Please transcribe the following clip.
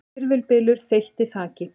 Hvirfilbylur þeytti þaki